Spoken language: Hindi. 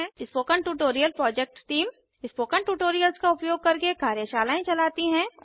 spoken tutorial project team spoken tutorials का उपयोग करके कार्यशालाएँ चलती है